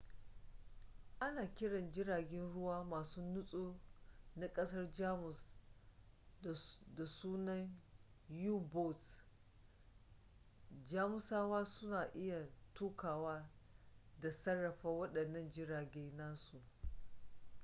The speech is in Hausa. ana kiran jiragen ruwa masu nutso na kasar jamus da sunan u-boats jamusawa sun iya tukawa da sarrafa wadannan jirage nasu